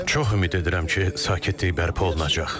Çox ümid edirəm ki, sakitlik bərpa olunacaq.